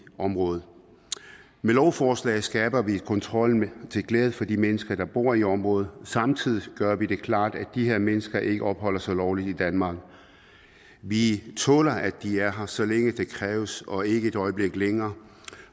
området med lovforslaget skaber vi en kontrol til glæde for de mennesker der bor i området samtidig klart at de her mennesker ikke opholder sig lovligt i danmark vi tåler at de er her så længe det kræves og ikke et øjeblik længere